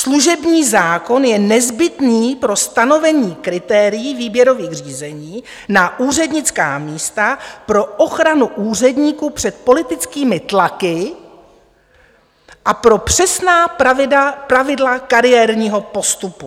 Služební zákon je nezbytný pro stanovení kritérií výběrových řízení na úřednická místa pro ochranu úředníků před politickými tlaky a pro přesná pravidla kariérního postupu.